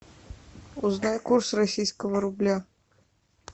узнай курс российского рубля